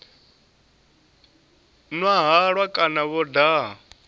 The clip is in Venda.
nwa halwa kana vho daha